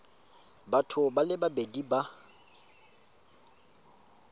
batho ba le babedi ba